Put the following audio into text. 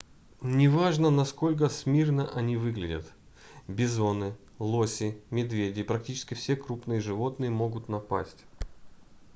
неважно насколько смирно они выглядят - бизоны лоси медведи и практически все крупные животные могут напасть